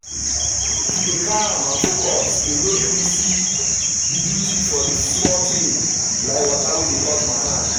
to dey calm and focus dey make me see the beauty for small things like water wey dey touch my hand.